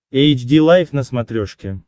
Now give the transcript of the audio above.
эйч ди лайф на смотрешке